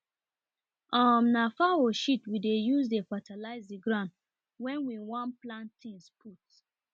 um na fowl shit we dey use dey fatalize the ground wen we wan plant things put